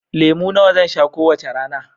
Lemu nawa zan sha kowace rana?